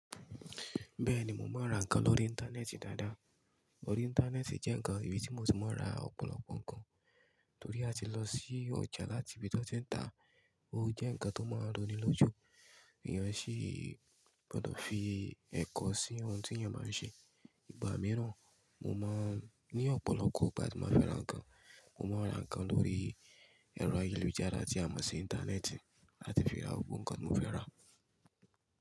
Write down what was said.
Bẹ́ẹ̀ni, mo máa ń ra nǹkan lórí Íńtánẹ́ẹ̀tì dáadáa. Lórí Íńtánẹ́ẹ̀tì jẹ́ nǹkan ibi tí mo ti máa ń ra ọ̀pọ̀lọpọ̀ nǹkan, torí àti lọ sí ọjà láti ibi tó ti ń ta, ó jẹ́ nǹkan tó máa ń roni lójú. Èèyàn sì gbọdọ̀ fi ẹ̀kọ́ sí ohun tí èèyàn máa ń ṣe. Ìgbà mìíràn mo máa ń ní ọ̀pọ̀lọpọ̀ ìgbà tí mo fẹ́ra nǹkan. Mo máa ń ra nǹkan lórí ẹ̀rọ ayélujára tí a mọ̀ sí Íńtánẹ́ẹ̀tì àti fi ra gbogbo nǹkan mo fẹ́ ra.